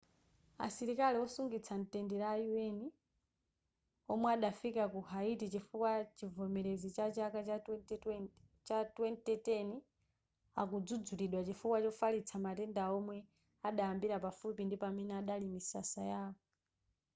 asilikali wosungitsa mtendere a un omwe adafika ku haiti chifukwa chivomerezi chachaka cha 2010 akudzudzulidwa chifukwa chofalitsa matendawa omwe adayambira pafupi ndi pamene padali misasa yawo